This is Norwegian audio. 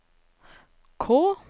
K